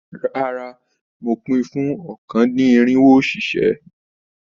Rárá, mo pin fún ọ̀kan-dín-irinwo òṣìṣẹ́.